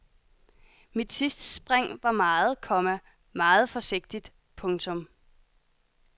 Mit sidste spring var meget, komma meget forsigtigt. punktum